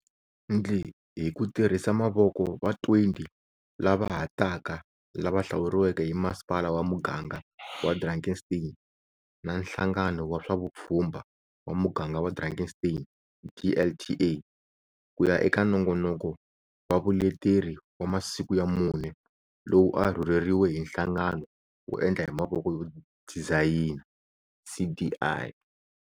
Ndli hi ku tirhisa mavoko va 20 lava ha taka lava hlawuriweke hi Masipala wa Muganga wa Drakenstein na Nhlangano wa swa Vupfhumba wa Muganga wa Drakenstein, DLTA, ku ya eka nongonoko va vuleteri wa masiku ya mune lowu a wu rhurheriwe hi Nhlangano wo Endla hi Mavoko no Dizayina, CDI,.